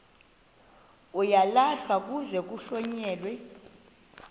uyalahlwa kuze kuhlonyelwe